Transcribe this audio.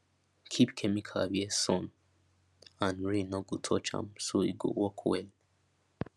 keep chemical where where sun and rain no go touch am so e go work well